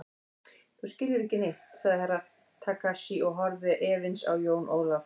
Þú skilur ekki neitt, sagði Herra Takashi og horfði efins á Jón Ólaf.